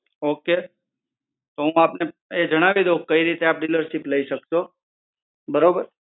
Okay. તો હું આપને એ જણાવી દઉં, કઈ રીતે આપ dealership લઇ શકશો. બરોબર?